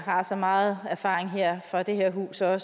har så meget erfaring fra det her hus og